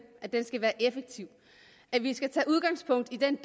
at den skal være effektiv at vi skal tage udgangspunkt i den